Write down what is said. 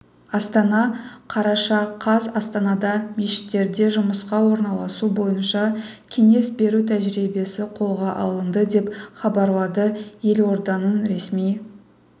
астана қараша қаз астанада мешіттерде жұмысқа орналасу бойынша кеңес беру тәжірибесі қолға алынды деп хабарлады елорданыңресми